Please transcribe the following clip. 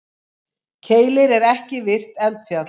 Keilir er ekki virkt eldfjall.